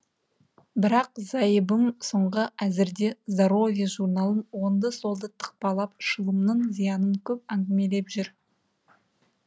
бірақ зайыбым соңғы әзірде здоровье журналын оңды солды тықпалап шылымның зиянын көп әңгімелеп жүр